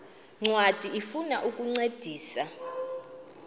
ncwadi ifuna ukukuncedisa